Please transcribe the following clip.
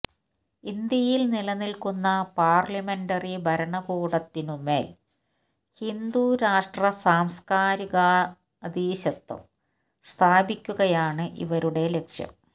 ഇന്ത്യയിൽ നിലനിൽക്കുന്ന പാർലമെന്ററി ഭരണകൂടത്തിനുമേൽ ഹിന്ദുരാഷ്ട്ര സാംസ്കാരികാധീശത്വം സ്ഥാപിക്കുകയാണ് ഇവരുടെ ലക്ഷ്യം